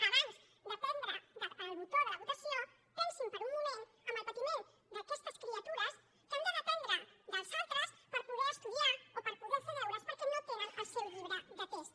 abans de prémer el botó de la votació pensin per un moment en el patiment d’aquestes criatures que han de dependre dels altres per poder estudiar o per poder fer deures perquè no tenen el seu llibre de text